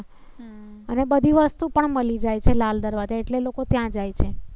અને બધી વસ્તુ પણ મળી જાય છે. લાલ દરવાજા એટલે લોકો ત્યાં જાય છે.